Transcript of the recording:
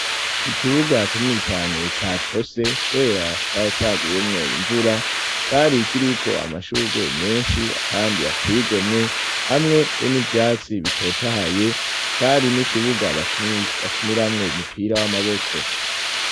Ikibuga kinini cane catose kubera caguyemwo imvura cari ikiriko amashurwe menshi kandi ateye igomwe hamwe be n'ivyatsi bitotahaye cari n'ikibuga bakiniramwo umupira w'amaboko.